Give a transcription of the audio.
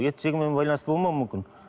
ет жегенмен байланысты болмауы мүмкін